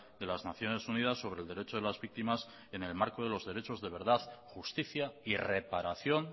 de las naciones unidas sobre el derecho de las víctimas en el marco de los derechos de verdad justicia y reparación